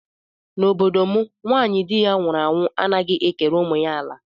N'obodo m nwaanyị di ya nwụrụ anwu anaghị ekere ụmụ ya ala